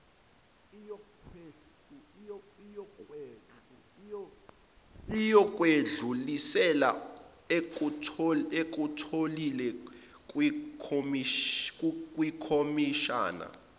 iyokwedlulisela ekutholile kwikhomishana